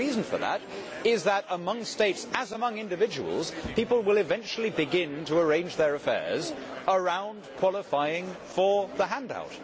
The reason for that is that among states, as among individuals, people will eventually begin to arrange their affairs around qualifying for the hand out.